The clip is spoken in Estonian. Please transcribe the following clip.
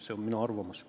See on minu arvamus.